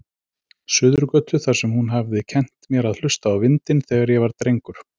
Suðurgötu, þar sem hún hafði kennt mér að hlusta á vindinn, þegar ég var drengur.